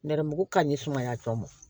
Nɛrɛmuguman ni sumaya tɔ ma